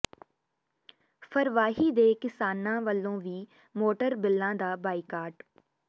ਫਰਵਾਹੀ ਦੇ ਕਿਸਾਨਾਂ ਵਲੋਂ ਵੀ ਮੋਟਰ ਬਿੱਲਾਂ ਦਾ ਬਾਈਕਾਟ